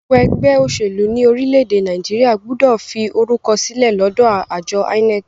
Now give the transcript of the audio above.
Gbogbo ẹgbẹ́ òṣèlú ní orílẹ̀-èdè Nàìjíríà gbọ́dọ̀ fi orúkọ sílẹ̀ lọ́dọ àjọ INEC.